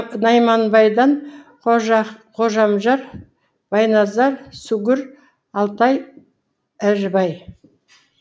найманбайдан қожамжар байназар сүгір алтай әжібай